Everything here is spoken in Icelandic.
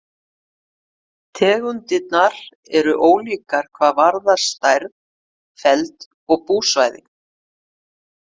Tegundirnar eru ólíkar hvað varðar stærð, feld og búsvæði.